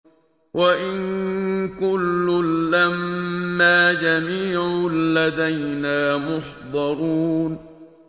وَإِن كُلٌّ لَّمَّا جَمِيعٌ لَّدَيْنَا مُحْضَرُونَ